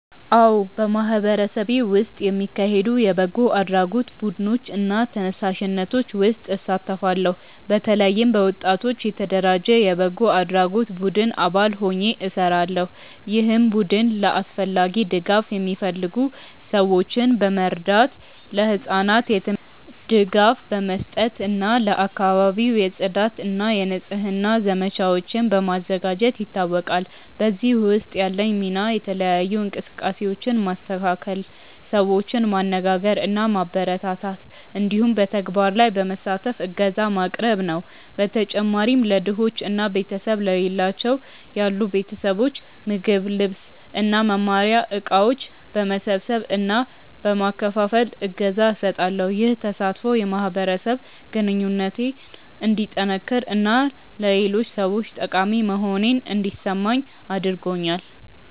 አዎ፣ በማህበረሰቤ ውስጥ የሚካሄዱ የበጎ አድራጎት ቡድኖች እና ተነሳሽነቶች ውስጥ እሳተፋለሁ። በተለይም በወጣቶች የተደራጀ የበጎ አድራጎት ቡድን አባል ሆኜ እሰራለሁ፣ ይህም ቡድን ለአስፈላጊ ድጋፍ የሚፈልጉ ሰዎችን በመርዳት፣ ለህጻናት የትምህርት ድጋፍ በመስጠት እና ለአካባቢው የጽዳት እና የንጽህና ዘመቻዎችን በማዘጋጀት ይታወቃል። በዚህ ውስጥ ያለኝ ሚና የተለያዩ እንቅስቃሴዎችን ማስተካከል፣ ሰዎችን ማነጋገር እና ማበረታታት እንዲሁም በተግባር ላይ በመሳተፍ እገዛ ማቅረብ ነው። በተጨማሪም ለድሆች እና ቤተሰብ ለሌላቸው ያሉ ቤተሰቦች ምግብ፣ ልብስ እና መማሪያ እቃዎች በመሰብሰብ እና በመከፋፈል እገዛ እሰጣለሁ። ይህ ተሳትፎ የማህበረሰብ ግንኙነቴን እንዲጠነክር እና ለሌሎች ሰዎች ጠቃሚ መሆኔን እንዲሰማኝ አድርጎኛል።